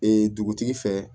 Ee dugutigi fɛ